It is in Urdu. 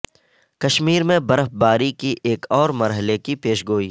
کشمیر میں برف باری کے ایک اور مرحلے کی پیش گوئی